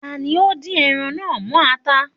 Ta ni ó ńdín ẹran náà mọ́ ata?